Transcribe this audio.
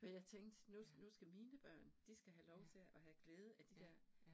Men jeg tænkte, nu nu skal mine børn, de skal have lov til at have glæde af de der